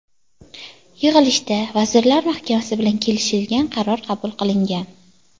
Yig‘ilishda Vazirlar Mahkamasi bilan kelishilgan qaror qabul qilingan.